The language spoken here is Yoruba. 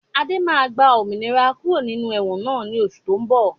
Adé máa gba òmìnira kúrò ní inú ẹ̀wọ̀n náà ni oṣù to ń bọ̀